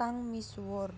kang misuwur